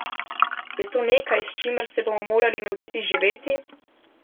Je to nekaj, s čimer se bomo morali naučiti živeti?